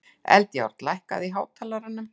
Eldjárn, lækkaðu í hátalaranum.